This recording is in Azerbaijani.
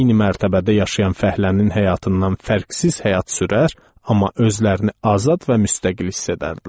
Eyni mərtəbədə yaşayan fəhlənin həyatından fərqsiz həyat sürər, amma özlərini azad və müstəqil hiss edərdilər.